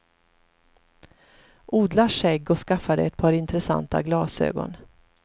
Odla skägg och skaffa dig ett par intressanta glasögon.